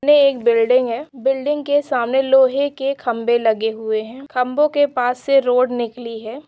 एक बिल्डिंग है बिल्डिंग के सामने लोहे के खंभे लगे हुए हैं खंबे के पास से रोड निकली है।